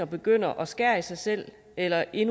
begynder at skære i sig selv eller i